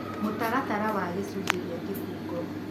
mũtaratara wa gĩcunjĩ ya kĩbungo